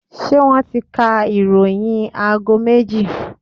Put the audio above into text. Ṣé wọ́n ti ka ìròyìn aago méjì?